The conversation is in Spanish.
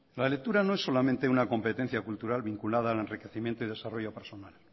la lectura no es solamente una competencia cultural vinculada al enriquecimiento y desarrollo personal